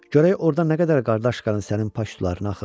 Görək orda nə qədər qardaş qanı sənin pak sularına axıb.